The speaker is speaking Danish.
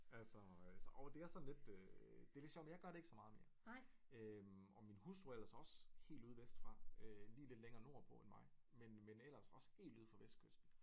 Altså øh og det er sådan lidt øh det er lidt sjovt men jeg gør det ikke så meget mere og min hustru er ellers også helt ude vest fra øh lidt længere nord på end mig men ellers også helt ude fra vestkysten